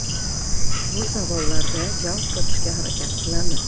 Bu savollarda javob topishga harakat qilamiz.